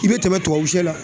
I bɛ tɛmɛn tubabusɛ la.